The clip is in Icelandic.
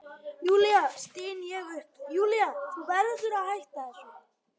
Júlía, styn ég upp, Júlía, þú verður að hætta þessu.